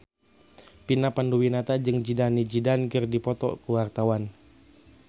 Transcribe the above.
Vina Panduwinata jeung Zidane Zidane keur dipoto ku wartawan